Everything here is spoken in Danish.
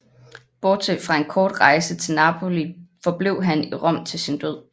Bortset fra en kort rejse til Napoli forblev han i Rom til sin død